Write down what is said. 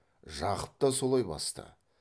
жақып та солай басты